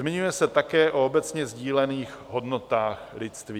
Zmiňuje se také o obecně sdílených hodnotách lidství.